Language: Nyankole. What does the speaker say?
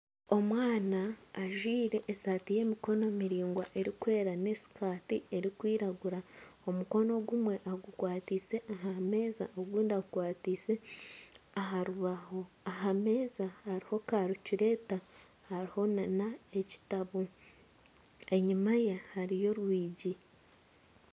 Omwana ajwaire esaati y'emikono miraingwa erikwera n'esikati erikwiragura omukono ogumwe agukwataise aha meeza ogundi agukwataise aha rubaho, aha meeza hariho karicureeta hariho n'ekitabo enyuma ye hariyo orwigi.